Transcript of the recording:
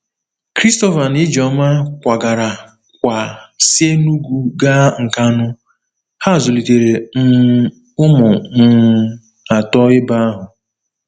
Christopher na Ijeoma kwagara kwa si Enugu gaa Nkanu, ha zụlitere um ụmụ um atọ ebe ahụ.